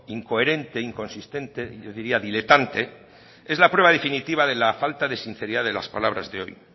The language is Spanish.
incoherente inconsistente y yo diría diletante es la prueba definitiva de la falta de sinceridad de las palabras de hoy